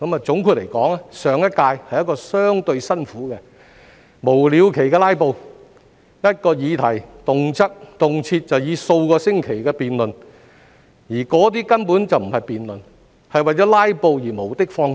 總括而言，上一屆的工作是相對辛苦的，由於有議員無了期的"拉布"、一項議題動輒辯論數個星期，而那些根本不是辯論，只是為了"拉布"而無的放矢。